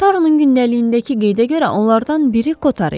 Taronun gündəliyindəki qeydə görə onlardan biri Kotar idi.